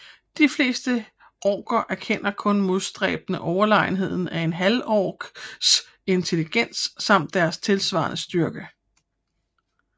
De fleste orker erkender kun modstræbende overlegenheden af en halvorks intellekt samt deres tilsvarende styrke